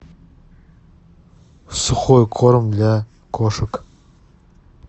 сухой корм для кошек